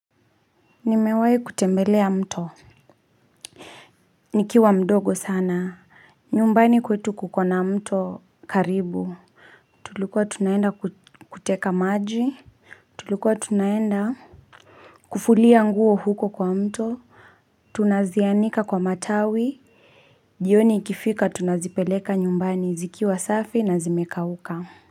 Nimewahi kutembelea mto. Nikiwa mdogo sana. Nyumbani kwetu kukona mto karibu. Tulikuwa tunaenda kuteka maji. Tulikuwa tunaenda. Kufulia nguo huko kwa mto. Tunazianika kwa matawi. Jioni ikifika tunazipeleka nyumbani zikiwa safi na zimekauka.